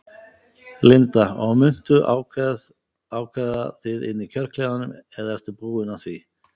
Linda: Og muntu ákveða þið inni í kjörklefanum eða ertu búinn að því?